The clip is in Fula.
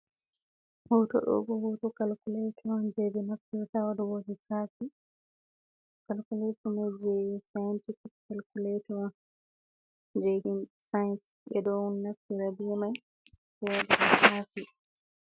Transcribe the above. Hotodo bo hoto kalkulato on, je benaftirta ha wadugo lessafi ,calculato Mai je sayintifik kalkuletor on, je himbe sance, bedo naftira be Mai bedo wada lissafi.